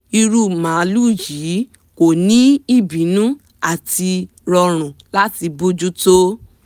irú màlúù yìí ko ni ibinu áti rọrùn láti bójú tó